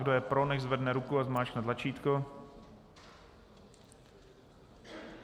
Kdo je pro, nechť zvedne ruku a zmáčkne tlačítko.